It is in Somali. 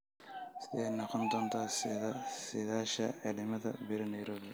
sidee noqon doontaa saadaasha cimilada berri nairobi